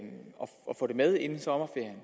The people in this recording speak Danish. få det med inden sommerferien